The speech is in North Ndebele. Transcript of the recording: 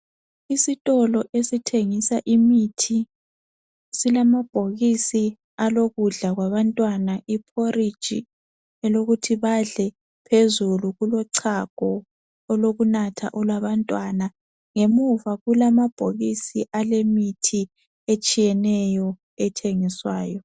Isitolo esithengisa imithi silamabhokisi alokudla kwabantwana iphoriji elokuthi badle, phezulu kulochago olokunatha olwabantwana. Ngemuva kulamabhokisi alemithi etshiyeneyo ethengiswayo.